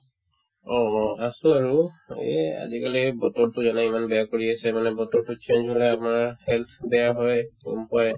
অ, অ, আছো আৰু এই আজিকালি এই বতৰতো এনে ইমান বেয়া কৰি আছে বোলে বতৰতো change হ'লে আপোনাৰ health বেয়া হয় গ'ম পোৱাই